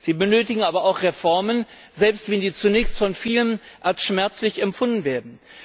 Sie benötigen aber auch Reformen, selbst wenn diese zunächst von vielen als schmerzlich empfunden werden.